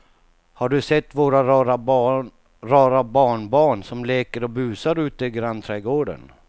Har du sett våra rara barnbarn som leker och busar ute i grannträdgården!